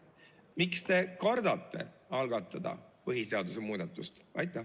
Miks te kardate algatada põhiseaduse muudatust?